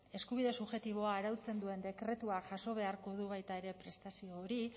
eskubide subjektiboa arautzen duen dekretua jaso beharko du baita ere prestazio hori